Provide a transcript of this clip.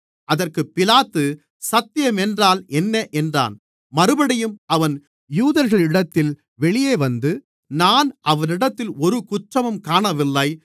அதற்குப் பிலாத்து சத்தியம் என்றால் என்ன என்றான் மறுபடியும் அவன் யூதர்களிடத்தில் வெளியே வந்து நான் அவனிடத்தில் ஒரு குற்றமும் காணவில்லை